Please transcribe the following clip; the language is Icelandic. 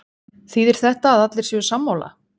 Þýðir þetta að allir séu sammála?